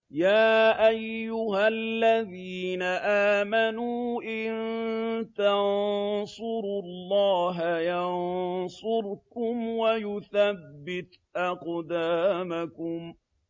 يَا أَيُّهَا الَّذِينَ آمَنُوا إِن تَنصُرُوا اللَّهَ يَنصُرْكُمْ وَيُثَبِّتْ أَقْدَامَكُمْ